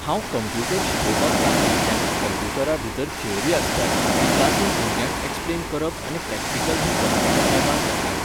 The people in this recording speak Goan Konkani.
हांव कंप्युटर शिकोवपाक लागलीं तेन्ना कंप्युटरा भितर थियोरी आसताली जी क्लासींत भुरग्यांक एक्सप्लेन करप आनी प्रॅक्टिकल हें कंप्युटर लॅबांत जातालें.